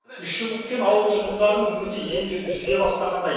үш жыл күткен ауыл тұрғындарының үміті енді үзіле бастағандай